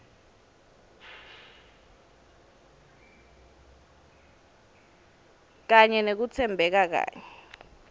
kanye nekutsembeka kanye